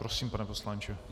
Prosím, pane poslanče.